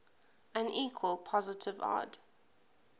unequal positive odd